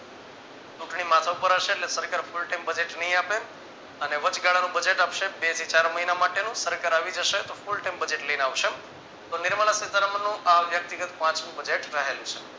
ચૂંટણી માથા પર હશે ને સરકાર full time Budget ની આપે અને વચગાળાનું Budget આપશે બેથી ચાર મહિના માટેનું સરકાર આવી જશે તો full time Budget લઈને આવશે તો નિર્મલા સીતારામનનું આ વ્યક્તિગત પાંચમું Budget રહેલું છે.